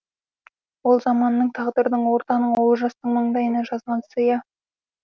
ол заманның тағдырдың ортаның олжастың маңдайына жазған сыйы